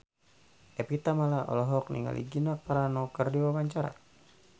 Evie Tamala olohok ningali Gina Carano keur diwawancara